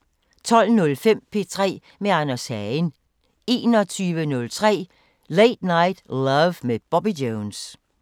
12:05: P3 med Anders Hagen 21:03: Late Night Love med Bobby Jones